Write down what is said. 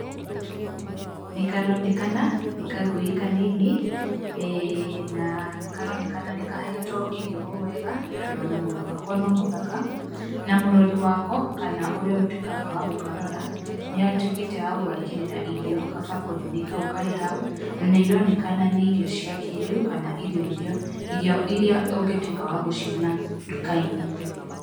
Nĩ karonekana nĩ kagui kanini na nĩ karonekana nĩ kahetwo irio o wega tondũ ona mwĩrĩ wako no mũthaka na mũrori wako kana ũrĩa ũtwĩkaga wa gũkarora nĩ atwĩkĩte wa gũgekĩrĩra irio gabakũri-nĩ kau karĩ hau na nĩ ironekana nĩ irio cia kĩrĩu kana irio iria ũngĩtuĩka wa gũciona nduka-inĩ.